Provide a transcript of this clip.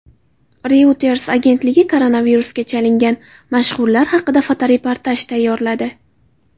Reuters agentligi koronavirusga chalingan mashhurlar haqida fotoreportaj tayyorladi.